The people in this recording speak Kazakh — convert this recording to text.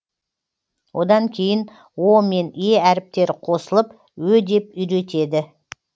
одан кейін о мен е әріптері қосылып ө деп үйретеді